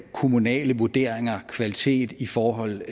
kommunale vurderinger af kvalitet i forhold